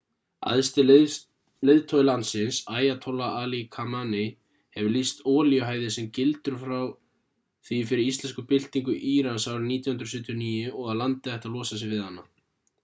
æðsti leiðtogi landsins ayatollah ali khamenei hefur lýst olíuhæði sem gildru frá því fyrir íslömsku byltingu írans árið 1979 og að landið ætti að losa sig við hana